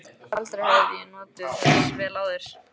Aldrei hafði ég notið þess jafn vel áður.